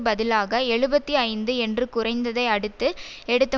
பதிலாக எழுபத்தி ஐந்து என்று குறைந்ததை அடுத்து எடுத்த